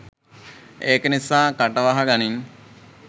ඒක නිසා කට වහ ගනින්